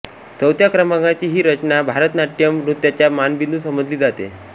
चौथ्या क्रमांकाची ही रचना भरतनाट्यम नृत्याचा मानबिंदू समजली जाते